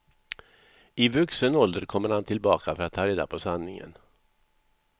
I vuxen ålder kommer han tillbaka för att ta reda på sanningen.